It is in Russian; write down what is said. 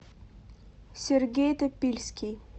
сергей топильский